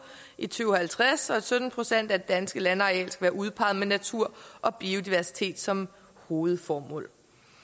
i to tusind og halvtreds og at sytten procent af det danske landareal skal være udpeget med natur og biodiversitet som hovedformål